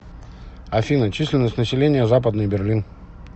афина численность населения западный берлин